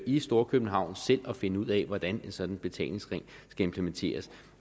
i storkøbenhavn selv at finde ud af hvordan en sådan betalingsring skal implementeres